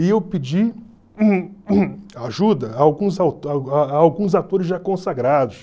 E eu pedi ajuda a alguns au a alguns autores já consagrados.